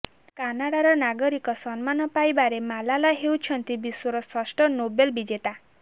କାନାଡ଼ାର ନାଗରିକ ସମ୍ମାନ ପାଇବାରେ ମାଲାଲା ହେଉଛନ୍ତି ବିଶ୍ୱର ଷଷ୍ଠ ନୋବେଲ ବିଜେତା